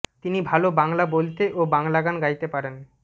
তিনি ভালো বাংলা বলতে ও বাংলা গান গাইতে পারেন